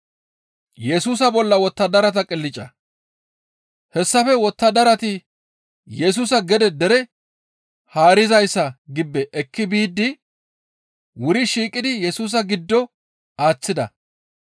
Hessafe wottadarati Yesusa gede dere haarizayssa gibbe ekki biidi wuri shiiqidi Yesusa giddo aaththida.